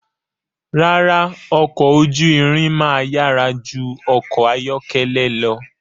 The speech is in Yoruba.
Rárá, ọkọ̀ ojú irin máa yára ju ọkọ̀ ayọ́kẹ́lẹ́ lọ.